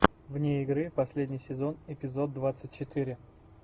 вне игры последний сезон эпизод двадцать четыре